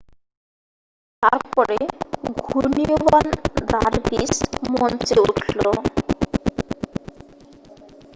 তারপরে ঘূর্ণিয়মান দারভিস মঞ্চে উঠল